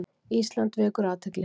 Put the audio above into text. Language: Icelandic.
Ísland vekur athygli